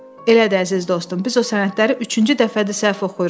Elədir, əziz dostum, biz o sənədləri üçüncü dəfədir səhv oxuyuruq.